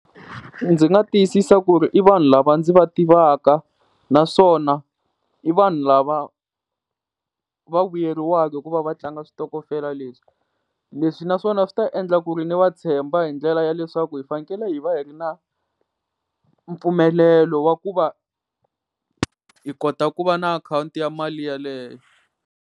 Ndzi nga tiyisisa ku ri i vanhu lava ndzi va tivaka naswona i vanhu lava va vuyeriwaka ku va va tlanga switokofela leswi, leswi na swona swi ta endla ku ri ni va tshemba hi ndlela ya leswaku hi fanekele hi va hi ri na mpfumelelo wa ku va hi kota ku va na akhawunti ya mali yeleyo.